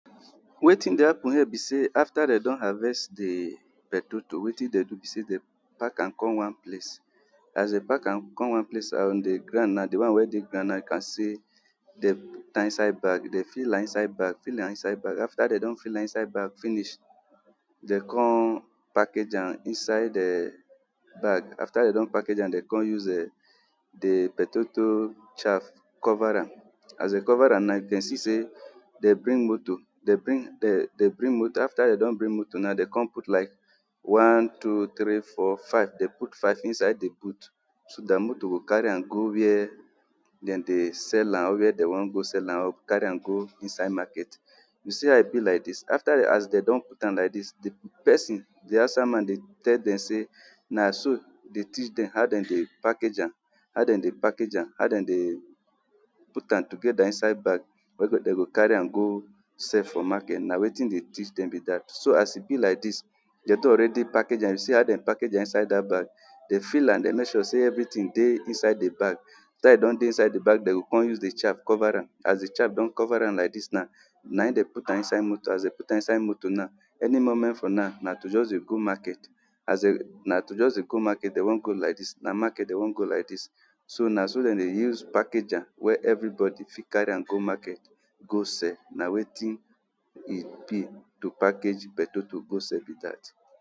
wetin de happen here be say afta dem don arrest de betoto, wetin dem do be sey, dem pack am come one place, as dem pack am come one place on de ground now, de one wey dey ground now you can see, dem put am inside bag, dem fill am inside bag, fill am inside bag, afta dem don fill am inside bag finish, de come package am, inside um bag, afta dem don package am de come use eh de betoto chaf cover am, as de cover am now, you can see sey, dem bring moto, dem bring um, afta dem don bring moto now, dem come put light. One, two, tri, four, five! Dem put five inside de boot, den moto go carry am go wia den de sell am or wia dem wan go sell am or carry am go inside market. You see how e be like dis, afta as dem don put am like dis, de pesin, de hausa man de tell dem say na so de teach dem how den de package am. how den de package am, how den de put am togeda insaid bag wey go, den go carry am go sell for market, na wetin de teach dem be dat so as e be like dis, de don already package am, you see how de package am inside dat bag, dem fill am, dem make sure say everytin dey inside de bag.. afta e don dey inside de bag, den go come de use de chaf cover am, as de chaf don cover am like dis now, na e den put am for inside moto, as den put am for inside moto now, any moment from now, na to just de go market. as na to just de go market den wan go like dis, na market den wan go like dis. So na so den de use package am wey everybody fit carry am go market go sell, na wetin e be to package betoto go sell be dat.